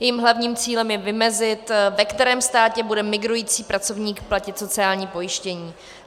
Jejím hlavním cílem je vymezit, ve kterém státě bude migrující pracovník platit sociální pojištění.